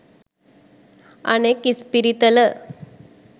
අනෙක් ඉස්පිරිතල